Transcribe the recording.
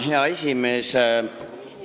Hea esimees!